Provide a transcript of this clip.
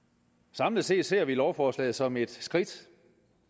samlet set ser vi lovforslaget som et skridt